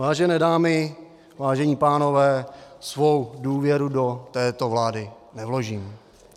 Vážené dámy, vážení pánové, svou důvěru do této vlády nevložím.